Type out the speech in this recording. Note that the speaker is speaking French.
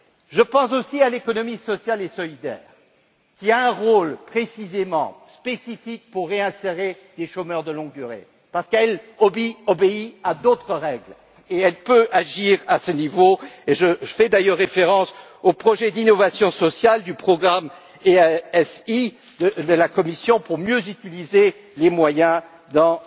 Je pense aussi à l'économie sociale et solidaire, qui a un rôle, précisément, spécifique à jouer pour réinsérer les chômeurs de longue durée, parce qu'elle obéit à d'autres règles et qu'elle peut agir à ce niveau. Et je fais d'ailleurs référence aux projets d'innovation sociale du programme EaSI de la Commission pour mieux utiliser les moyens